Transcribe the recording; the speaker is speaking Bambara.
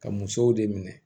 Ka musow de minɛ